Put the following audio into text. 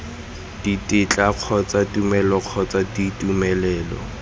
ditetla kgotsa tumelelo kgotsa ditumelelo